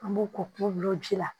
An b'o ko kun glan ji la